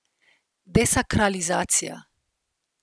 Desakralizacija.